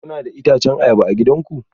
Kuna da itacen ayaba a gidanku?